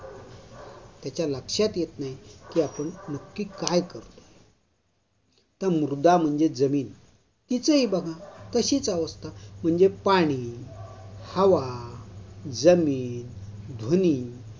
त्याच्या लक्षात येत नाही की आपण नक्की काय करतोय. तर मृदा म्हणजे जमीन. तिचंही बघा. तशीच अवस्था. म्हणजे पाणी, हवा, जमीन, ध्वनी